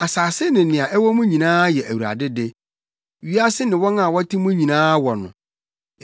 Asase ne nea ɛwɔ mu nyinaa yɛ Awurade de; wiase ne wɔn a wɔte mu nyinaa wɔ no;